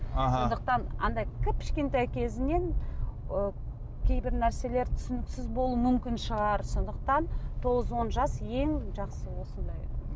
аха сондықтан анадай кіп кішкентай кезінен ы кейбір нәрселер түсініксіз болуы мүмкін шығар сондықтан тоғыз он жас ең жақсы осындай